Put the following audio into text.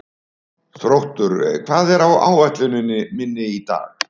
Þróttur, hvað er á áætluninni minni í dag?